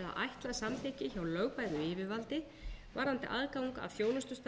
eða ætlað samþykki hjá lögbæru yfirvaldi varðandi aðgang að þjónustustarfsemi eða framboð þjónustu